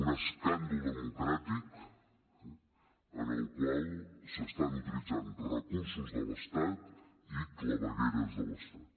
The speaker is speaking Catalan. un escàndol democràtic en el qual s’estan utilitzant recursos de l’estat i clavegueres de l’estat